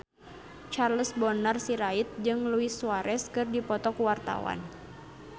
Charles Bonar Sirait jeung Luis Suarez keur dipoto ku wartawan